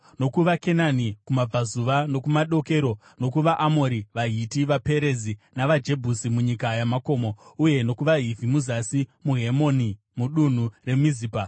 NokuvaKenani kumabudazuva nokumadokero, nokuvaAmori, vaHiti, vaPerizi navaJebhusi munyika yamakomo; uye nokuvaHivhi muzasi meHemoni mudunhu reMizipa.